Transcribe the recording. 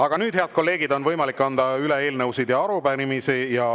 Aga nüüd, head kolleegid, on võimalik anda üle eelnõusid ja arupärimisi.